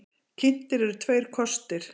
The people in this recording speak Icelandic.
Kynntir eru tveir kostir.